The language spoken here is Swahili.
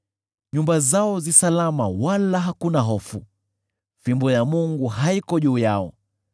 Nyumba zao zi salama wala hakuna hofu; fimbo ya Mungu haiko juu yao.